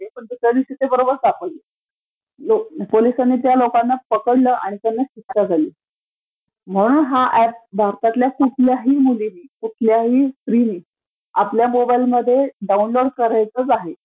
दुसऱ्या दिवशी बरोबर सापडले. पोलिसांनी त्यांना पकडलं आणि त्यांना शिक्षा झाली. म्हणून हा ऍप भारतातल्या कुठल्याही मुलीं स्त्रीनी आपल्या मोबाइलमध्ये डाऊनलोड करायचाच आहे.